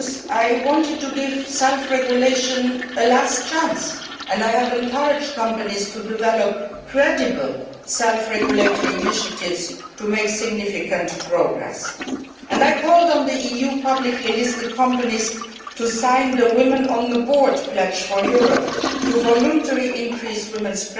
I wanted to give self regulation a last chance, and I have encouraged companies to develop credible self regulatory initiatives to make significant progress. I have called on the EU's publicly listed companies to sign the Women on the board' pledge for Europe and voluntarily to increase women's